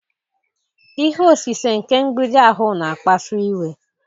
Ihe osise nke mgbidi ahụ na-akpasu iwe